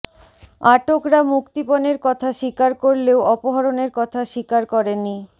আটকরা মুক্তিপণের কথা স্বীকার করলেও অপহরণের কথা স্বীকার করেনি